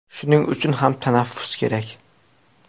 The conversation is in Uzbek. Shuning uchun ham tanaffus kerak.